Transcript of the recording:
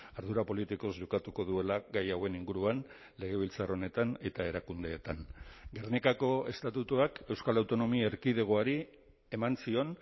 ardura politikoz jokatuko duela gai hauen inguruan legebiltzar honetan eta erakundeetan gernikako estatutuak euskal autonomia erkidegoari eman zion